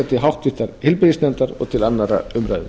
til háttvirtrar heilbrigðisnefndar og til annarrar umræðu